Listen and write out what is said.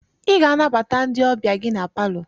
Ị ga-anabata ndị ọbịa gị na palọ!